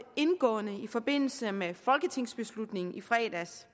indgående i forbindelse med folketingsbeslutningen i fredags